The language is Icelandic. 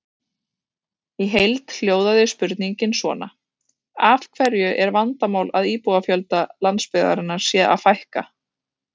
Í heild hljóðaði spurningin svona: Af hverju er vandamál að íbúafjölda landsbyggðarinnar sé að fækka?